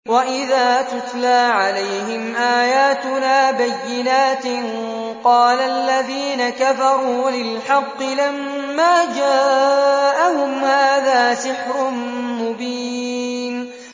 وَإِذَا تُتْلَىٰ عَلَيْهِمْ آيَاتُنَا بَيِّنَاتٍ قَالَ الَّذِينَ كَفَرُوا لِلْحَقِّ لَمَّا جَاءَهُمْ هَٰذَا سِحْرٌ مُّبِينٌ